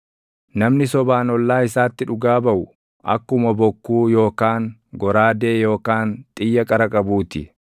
Namni sobaan ollaa isaatti dhugaa baʼu, akkuma bokkuu yookaan goraadee yookaan xiyya qara qabuu ti.